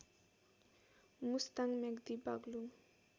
Mustang Myagdi Baglung